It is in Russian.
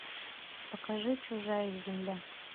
покажи чужая земля